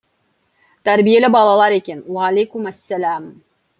тәрбиелі балалар екен уағалейкум ассалам